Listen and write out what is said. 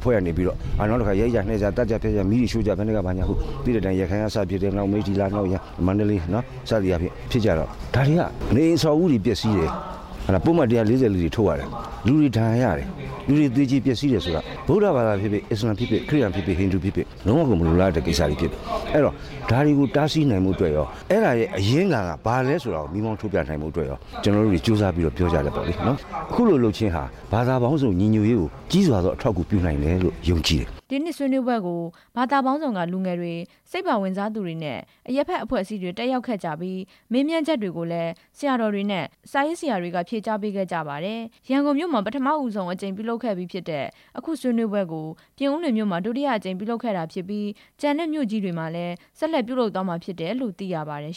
ဖွဲ့ကနေပြီးတော့ ရိုက်ကြနှက်ကြ သတ်ကြဖြတ်ကြ မီးတွေရှို့ကြ သိတဲ့အတိုင်း ရခိုင်ကစဖြစ်တယ်၊ မိတ္ထီလာ၊ မန္တလေးစသဖြင့် ဖြစ်ကြတော့ ဒါတွေက အဆောက်အဦးတွေ ပျက်စီးတယ်၊ ပုဒ်မ ၁၄၄ ထုတ် ရတယ်၊ လူတွေဒဏ်ရရတယ်၊ လူတွေသေကြေ ပျက်စီးတယ်ဆိုတာ ဗုဒ္ဓဘာသာဖြစ်ဖြစ်၊ အစ္စလာမ်ဖြစ်ဖြစ်၊ ခရစ်ယာန်ဖြစ်ဖြစ်၊ ဟိန္ဒူဖြစ်ဖြစ် ဒါဟာမလိုလား အပ်ဘူး၊ ဒါတွေကို တားဆီးနိုင်ဖို့အတွက် အဲဒါရဲ့အရင်းခံဟာ ဘာလဲဆိုတာကို မီးမောင်းထိုးပြနိုင်ဖို့အတွက် ကျနော်တို့တတွေ ကြိုးစားပြီးတော့ ပြောကြတယ်ပေါ့လေ၊ အခုလိုလုပ်ခြင်းဟာ ဘာသာပေါင်းစုံညီညွှတ်ရေးကို ကြီးစွာအထောက်အကူပြုနိုင်တယ်လို့ ယုံကြည်တယ်" ဆွေးနွေးပွဲကို ဘာသာပေါင်းစုံက လူငယ်တွေ၊ အရပ်ဘက်အဖွဲ့အစည်းတွေက ကိုယ်စားလှယ်တွေ တက်ရောက်ခဲ့ကြပြီး တုန့်ပြန်မေးမြန်းကြသူတွေရဲ့ မေးမြန်းချက်တွေကို ဆရာတော်တွေနဲ့ စာရေးဆရာတွေကဖြေကြားပေးခဲ့ကြပါတယ်။ အလားတူ ဟောပြောဆွေးနွေးပွဲကို ရန်ကုန်မြို့မှာ ပထမဆုံးအကြိမ် ကျင်းပပြုလုပ်ခဲ့ပြီး မကြာခင် တခြားမြို့ကြီးတွေမှာလည်း ဆက်လက်ပြုလုပ်သွားမယ်လို့ သိရပါတယ်